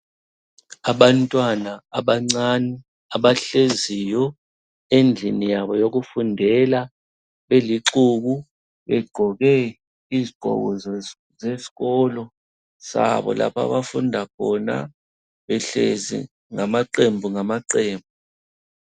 Abantwana abancane abahleziyo endlini yabo yokufundela belixuku begqoke izigqoko zesikolo sabo lapho abafunda khona. Behlezi ngamaqembu ngamaqembu.